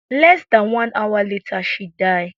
less dan one hour later she die